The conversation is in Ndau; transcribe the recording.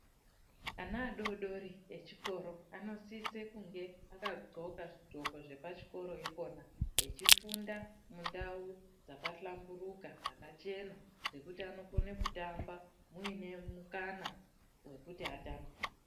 Ana adori dori echikoro, anosise kunge akagqoka zigqoko zvepachikora ikona, bechifunda mundau dzakahlamburuka, dzakachena dzekuti anokone kutamba muine mukana wekuti atambe.